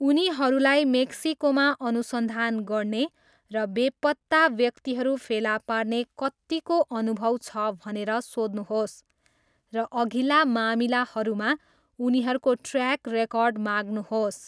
उनीहरूलाई मेक्सिकोमा अनुसन्धान गर्ने र बेपत्ता व्यक्तिहरू फेला पार्ने कत्तिको अनुभव छ भनेर सोध्नुहोस्, र अघिल्ला मामिलाहरूमा उनीहरूको ट्र्याक रेकर्ड माग्नुहोस्।